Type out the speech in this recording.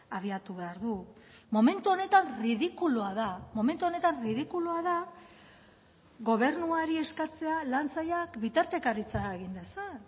abiatu behar du momentu honetan ridikulua da momentu honetan ridikulua da gobernuari eskatzea lan sailak bitartekaritza egin dezan